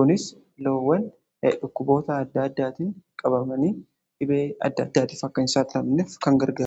Kunis loowwan dhukkuboota adda addaatiin qabamanii dhibee adda addaatif akka hin saaxilamne kan gargaarudha.